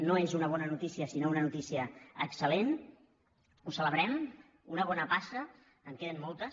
no és una bona notícia sinó una notícia excel·celebrem una bona passa en queden moltes